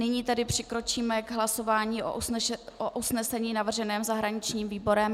Nyní tedy přikročíme k hlasování o usnesení navrženém zahraničním výborem.